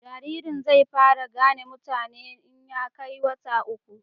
jaririn zai fara gane mutane in ya kai wata uku